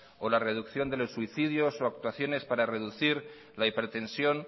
o la reducción de los suicidios o actuaciones para reducir la hipertensión